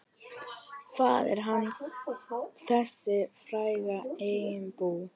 Faðir hans, þessi frægi einbúi.